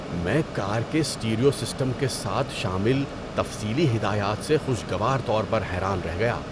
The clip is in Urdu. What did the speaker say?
میں کار کے سٹیریو سسٹم کے ساتھ شامل تفصیلی ہدایات سے خوشگوار طور پر حیران رہ گیا۔